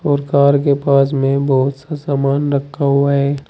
और कार के पास में बहुत सा सामान रखा हुआ है।